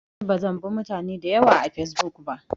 Ni bazan bi mutane dayawa a fesbuk ba